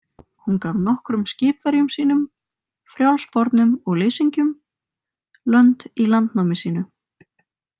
Hún gaf nokkrum skipverjum sínum, frjálsbornum og leysingjum, lönd í landnámi sínu.